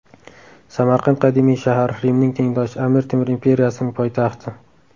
Samarqand qadimiy shahar, Rimning tengdoshi, Amir Temur imperiyasining poytaxti.